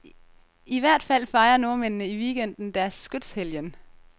I hvert fald fejrer nordmændene i weekenden deres skytshelgen.